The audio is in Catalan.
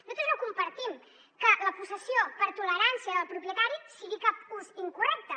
nosaltres no compartim que la possessió per tolerància del propietari sigui cap ús incorrecte